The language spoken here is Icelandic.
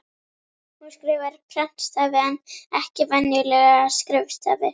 Hún skrifar prentstafi en ekki venjulega skrifstafi.